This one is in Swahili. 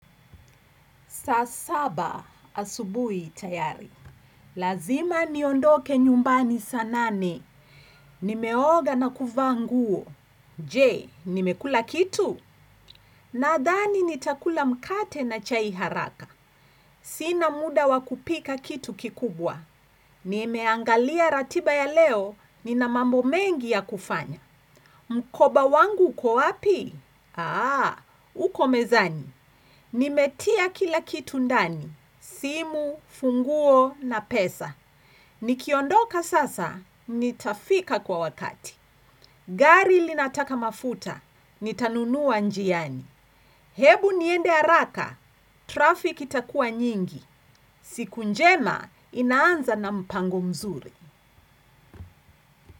Saa saba asubuhi tayari. Lazima niondoke nyumbani saa nane. Nimeoga na kuvaa nguo. Je, nimekula kitu? Nadhani nitakula mkate na chai haraka. Sina muda wakupika kitu kikubwa. Nimeangalia ratiba ya leo, nina mambo mengi ya kufanya. Mkoba wangu uko wapi? Aaa, uko mezani. Nimetia kila kitu ndani. Simu, funguo na pesa nikiondoka sasa, nitafika kwa wakati. Gari linataka mafuta, nitanunua njiani. Hebu niende haraka, trafiki itakuwa nyingi. Siku njema, inaanza na mpango mzuri.